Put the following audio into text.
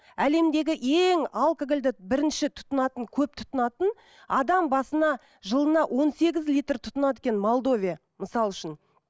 әлемдігі ең алкогольді бірінші тұтынатын көп тұтынатын адам басына жылына он сегіз литр тұтынады екен молдовия мысалы үшін